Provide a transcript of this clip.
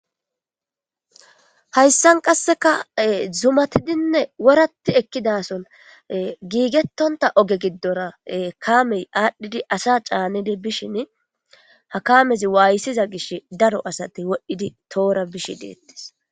hayssan qasseka zumatidinne woratti ekkidason giigettonta oge giddora kamey aadhdhidi asa caanidi bishin ha kamezi waayssiza gish daro asati wodhdhidi toora bishi deettis